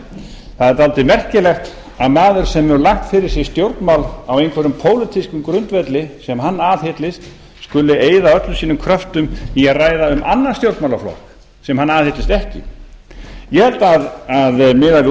er dálítið merkilegt að maður sem hefur lagt fyrir sig stjórnmál á einhverjum pólitískum grundvelli sem hann aðhyllist skuli eyða öllum sínum kröftum í að ræða um annan stjórnmálaflokk sem hann aðhyllist ekki ég held að miðað við